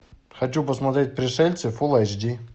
хочу посмотреть пришельцы фулл айч ди